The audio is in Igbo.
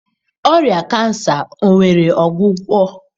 Ọrịa cancer nwere ọgwụgwọ?